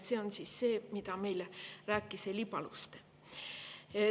See on see, mida rääkis meile Heli Paluste.